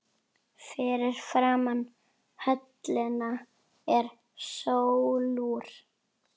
Fyrir framan höllina er sólúr